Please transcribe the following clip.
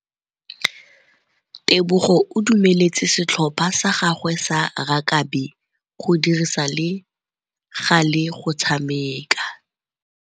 Tebogô o dumeletse setlhopha sa gagwe sa rakabi go dirisa le galê go tshameka.